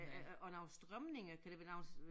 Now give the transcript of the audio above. Øh øh øh og nogle strømninger kan det være nogle